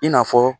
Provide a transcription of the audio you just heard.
I n'a fɔ